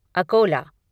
Akola